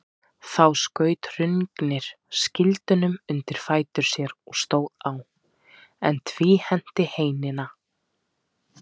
Þá skaut Hrungnir skildinum undir fætur sér og stóð á, en tvíhenti heinina.